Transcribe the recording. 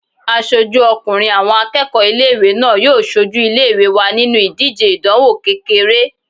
Aṣojú ọkùnrin àwọn akẹ́kọ̀ọ́ ilé-ìwé náà yóò sojú ilé-ìwé wa nínu ìdíje ìdánwò kékeré